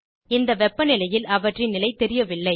இந்த வெப்பநிலையில் அவற்றின் நிலை தெரியவில்லை